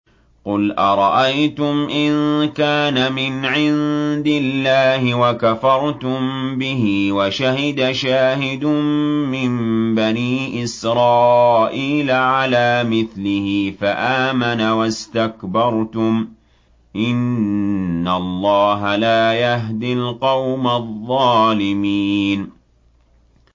قُلْ أَرَأَيْتُمْ إِن كَانَ مِنْ عِندِ اللَّهِ وَكَفَرْتُم بِهِ وَشَهِدَ شَاهِدٌ مِّن بَنِي إِسْرَائِيلَ عَلَىٰ مِثْلِهِ فَآمَنَ وَاسْتَكْبَرْتُمْ ۖ إِنَّ اللَّهَ لَا يَهْدِي الْقَوْمَ الظَّالِمِينَ